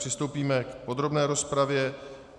Přistoupíme k podrobné rozpravě.